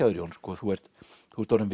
þér Jón þú ert þú ert orðinn